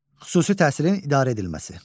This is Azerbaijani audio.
Xüsusi təhsilin idarə edilməsi.